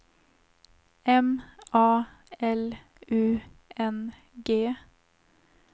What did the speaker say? M A L U N G